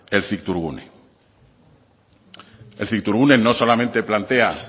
el cictourgune el cictourgune no solamente plantea